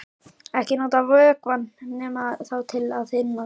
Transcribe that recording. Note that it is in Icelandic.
Ekki nota vökvann nema þá til að þynna með.